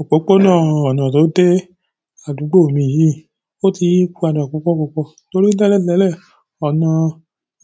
Òpópónà ọ̀nà tó de àdúgbò mi yìí, ó ti yípadà púpọ̀púpọ̀ torí tẹ́lẹ̀tẹ́lẹ̀ ọ̀nà